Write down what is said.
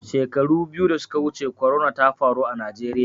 Shekaru biyu da suka wuce corona ta faru a Najeriya.